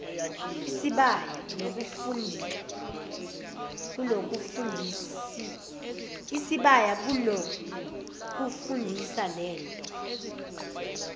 isibaya kunokufundisa lento